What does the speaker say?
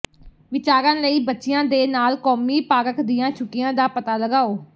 ਵਿਚਾਰਾਂ ਲਈ ਬੱਚਿਆਂ ਦੇ ਨਾਲ ਕੌਮੀ ਪਾਰਕ ਦੀਆਂ ਛੁੱਟੀਆਂ ਦਾ ਪਤਾ ਲਗਾਓ